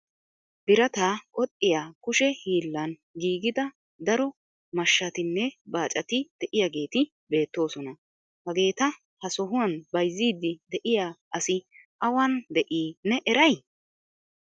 Birataa qoxxiya kushshe hiilarun giigida daro mashshatimne baacati de'iyaageeti beetoosona. Hageeta ha sohuwan bayzzidi de'iyaa asi awan de'ii ne eray?